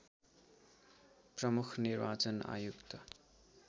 प्रमुख निर्वाचन आयुक्त